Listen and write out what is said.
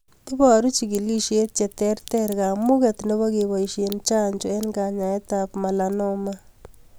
Iboru chigilishet cheterter kamuget nebo keboishe chanjo eng' kanyaetab malanoma